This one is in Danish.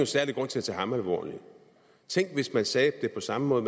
særlig grund til at tage ham alvorligt tænk hvis man sagde det på samme måde